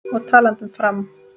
Og talandi um Fram.